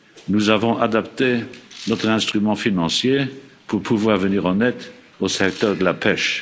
Nous avons adapté notre instrument financier pour pouvoir venir en aide au secteur de la